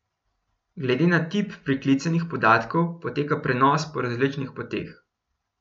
Glede na tip priklicanih podatkov poteka prenos po različnih poteh.